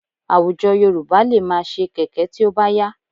Àwùjọ Yorùbá lè máa ṣe kẹ̀kẹ́ tí ó bá yá